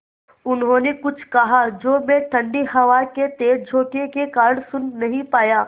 उन्होंने कुछ कहा जो मैं ठण्डी हवा के तेज़ झोंके के कारण सुन नहीं पाया